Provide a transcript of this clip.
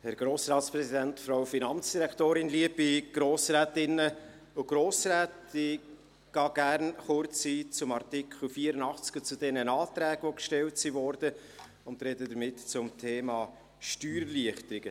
Ich gehe gerne kurz auf den Artikel 84, auf die Anträge ein, die gestellt wurden und spreche damit zum Thema Steuererleichterungen: